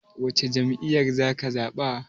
Wacce jam'iyya zaka zaɓa?